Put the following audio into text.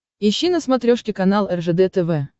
ищи на смотрешке канал ржд тв